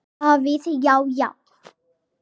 Davíð Já, já.